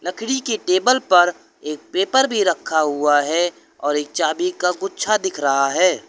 लकड़ी के टेबल पर एक पेपर भी रखा हुआ है एक चाबी का गुच्छा भी दिख रहा है।